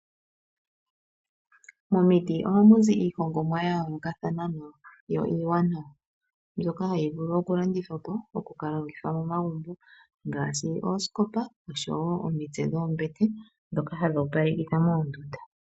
Momiti ohamuzi iihongomwa yayoolakathana yo iiwanawa mbyoka hayi vulu oku kalandi thwapo , oku kalongithwa momagumbo ngaashi oosikopa oshowo omitse dhoombete ndhoka hadhi opaleka kitha moondunda.